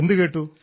എന്തു കേട്ടു